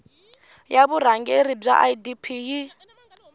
ya vurhangeri bya idp yi